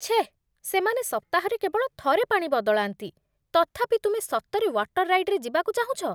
ଛେଃ, ସେମାନେ ସପ୍ତାହରେ କେବଳ ଥରେ ପାଣି ବଦଳାନ୍ତି, ତଥାପି ତୁମେ ସତରେ ୱାଟର୍ ରାଇଡ଼୍‌‌ରେ ଯିବାକୁ ଚାହୁଁଛ ?